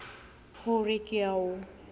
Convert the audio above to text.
ho re ke a o